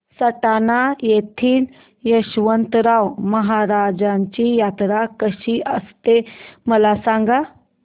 सटाणा येथील यशवंतराव महाराजांची यात्रा कशी असते मला सांग